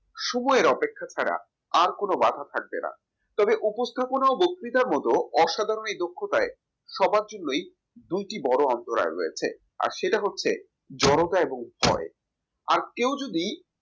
সময়ের অপেক্ষা ছাড়া আর কোন বাঁধা থাকবে না তবে উপস্থাপনা ও বক্তৃতার মত অসাধারণ এই দক্ষতায় সবার জন্যই দুটি বড় অন্তরায় রয়েছে। আর সেটা হচ্ছে জড়তা এবং ভয় আর কেউ যদি